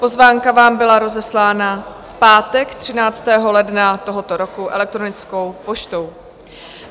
Pozvánka vám byla rozeslána v pátek 13. ledna tohoto roku elektronickou poštou.